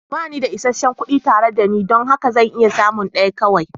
Ba ni da isasshen kuɗi tare da ni don haka zan iya samun ɗaya kawai.